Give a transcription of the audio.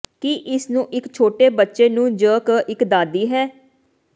ਕੀ ਇਸ ਨੂੰ ਇੱਕ ਛੋਟੇ ਬੱਚੇ ਨੂੰ ਜ ਇੱਕ ਦਾਦੀ ਹੈ